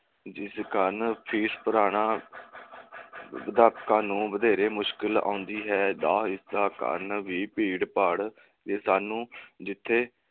ਜਿਸ ਕਾਰਨ fees ਭਰਾਨਾਂ ਗਾਹਕਾਂ ਨੂੰ ਵਧੇਰੇ ਮੁਸ਼ਕਿਲ ਆਉਦੀ ਹੈ ਦਾ ਇਸ ਦਾ ਕਾਰਨ ਵੀ ਭੀੜ ਭਾੜ ਤੇ ਸਾਨੂ ਜਿੱਥੇ